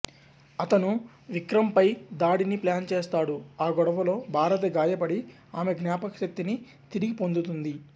అతను విక్రమ్ పై దాడిని ప్లాన్ చేస్తాడు ఆ గొడవలో భారతి గాయపడి ఆమె జ్ఞాపకశక్తిని తిరిగి పొందుతుంది